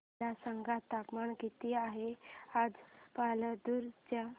मला सांगा तापमान किती आहे आज पालांदूर चे